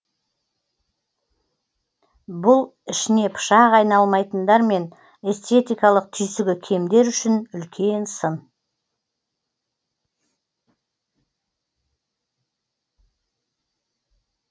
бұл ішіне пышақ айналмайтындар мен эстетикалық түйсігі кемдер үшін үлкен сын